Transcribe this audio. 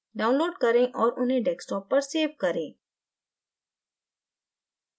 download करें और उन्हें desktop पर सेव करें